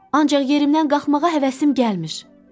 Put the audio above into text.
Ancaq yerimdən qalxmağa həvəsim gəlmir.